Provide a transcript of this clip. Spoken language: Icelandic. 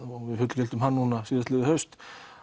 við fullgiltum hann núna síðastliðið haust